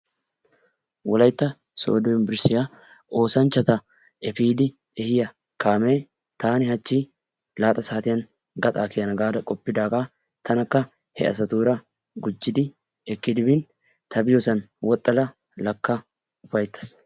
Wolaytta sodo yunveristtiyaa oosanchachatta effiidi ehiyaa kaamee taani hachchi laaxxa saatiyan gaxxaa kiyana gaada qoppidaagaa tanakka he asatuura gujjidi ekkidi biin ta biyosan woxxada gakka ufayttasi.